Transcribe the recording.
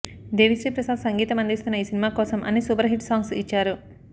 దేవిశ్రీ ప్రసాద్ సంగీతం అందిస్తున్న ఈ సినిమా కోసం అన్ని సూపర్ హిట్ సాంగ్స్ ఇచ్చారు